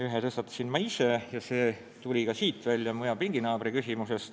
Ühe tõstatasin ma ise ja see tuli välja ka mu hea pinginaabri küsimusest.